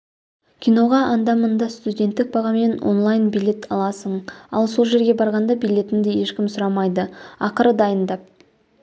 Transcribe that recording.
киноға анда-мында студенттік бағамен онлайн билет аласың ал сол жерге барғанда билетіңді ешкім сұрамайды ақыры дайындап